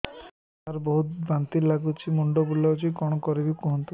ସାର ବହୁତ ବାନ୍ତି ଲାଗୁଛି ମୁଣ୍ଡ ବୁଲୋଉଛି କଣ କରିବି କୁହନ୍ତୁ